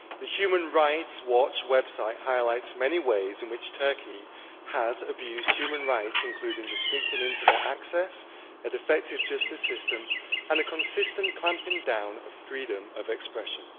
The Human Rights Watch website highlights many ways in which Turkey has abused human rights, including restricting internet access, a defective justice system and a consistent clamping down on freedom of expression.